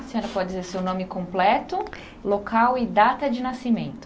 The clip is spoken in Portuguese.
A senhora pode dizer seu nome completo, local e data de nascimento.